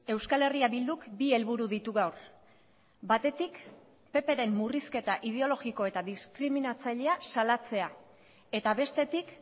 euskal herria bilduk bi helburu ditu gaur batetik ppren murrizketa ideologiko eta diskriminatzailea salatzea eta bestetik